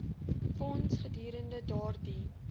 fonds gedurende daardie